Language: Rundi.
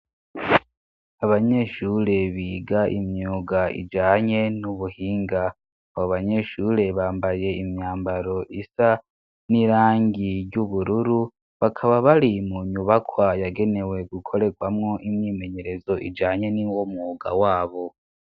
Abanyeshure biga imyuga ijanye n'ubuhinga, abo banyeshure bambaye imyambaro isa n'irangi ry'ubururu, bakaba bari mu nyubakwa yagenewe gukorerwamwo imyimenyerezo ijanye n'uwo mwuga wabo.